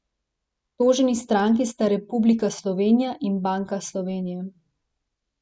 Toženi stranki sta Republika Slovenija in Banka Slovenije.